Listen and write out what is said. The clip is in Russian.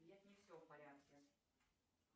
нет не все в порядке